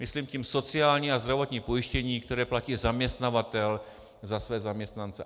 Myslím tím sociální a zdravotní pojištění, které platí zaměstnavatel za své zaměstnance.